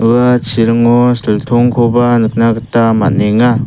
ua chiringo siltongkoba nikna gita man·enga.